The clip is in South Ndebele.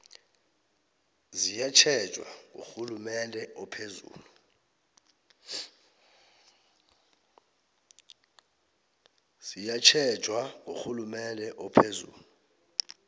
ziyatjhejwa ngurhulumende ophezulu